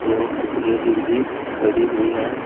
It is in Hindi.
और कुछ लेडिस भी खड़ी हुई है।